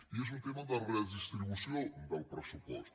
i és un tema de redistribució del pressupost